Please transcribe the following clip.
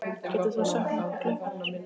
Getur þú sagt mér hvað klukkan er?